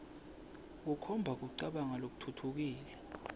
kukhomba kucabanga lokutfutfukile